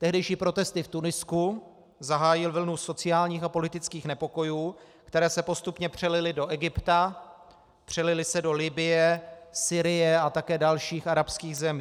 Tehdejší protesty v Tunisku zahájily vlnu sociálních a politických nepokojů, které se postupně přelily do Egypta, přelily se do Libye, Sýrie a také dalších arabských zemí.